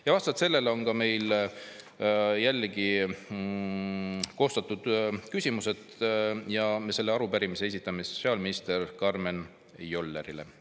Ja vastavalt sellele on meil jällegi koostatud küsimused, selle arupärimise esitame sotsiaalminister Karmen Jollerile.